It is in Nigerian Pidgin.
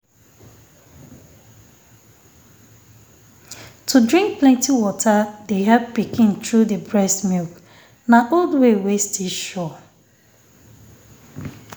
to drink plenty water de help pikin through the breast milk. na old way wey still sure